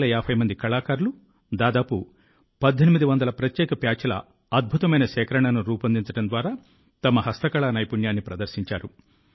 450 మంది కళాకారులు దాదాపు 1800 ప్రత్యేక ప్యాచ్ల అద్భుతమైన సేకరణను రూపొందించడం ద్వారా తమ హస్తకళా నైపుణ్యాన్ని ప్రదర్శించారు